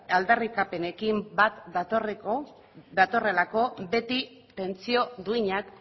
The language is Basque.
aldarrikapenekin bat datorrelako beti pentsio duinak